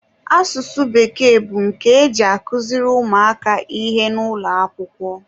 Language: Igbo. asụsụ bekee bụ nke e ji akụziri ụmụaka ihe n'ụlọakwụkwọ